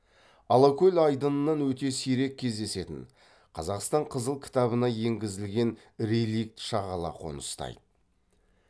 алакөл айдынынан өте сирек кездесетін қазақстан қызыл кітабына енгізілген реликт шағала қоныстайды